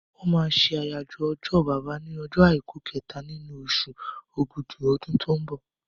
Wọ́n máa ṣe àyájọ́ ọjọ́ bàbá ní ọjọ́ àìkú kẹta nínú osù ògudù ọdún tó ń bọ̀